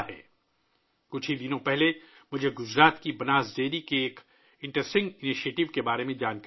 ابھی کچھ دن پہلے مجھے گجرات کی بناس ڈیری کے ایک دلچسپ اقدام کا علم ہوا